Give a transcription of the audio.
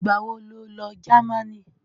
ìgbà wo lo Jámánì?